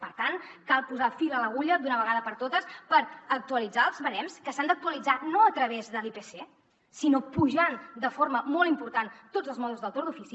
per tant cal posar fil a l’agulla d’una vegada per totes per actualitzar els barems que s’han d’actualitzar no a través de l’ipc sinó pujant de forma molt important tots els mòduls del torn d’ofici